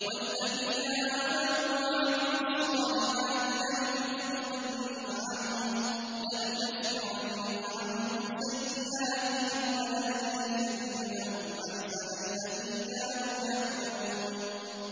وَالَّذِينَ آمَنُوا وَعَمِلُوا الصَّالِحَاتِ لَنُكَفِّرَنَّ عَنْهُمْ سَيِّئَاتِهِمْ وَلَنَجْزِيَنَّهُمْ أَحْسَنَ الَّذِي كَانُوا يَعْمَلُونَ